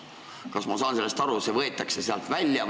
Kas ma saan õigesti aru, et see võetakse sealt välja?